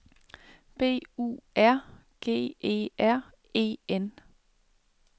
B U R G E R E N